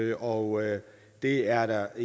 når det er